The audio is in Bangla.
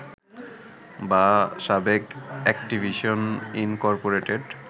বা সাবেক অ্যাকটিভিশন ইনকর্পোরেটেড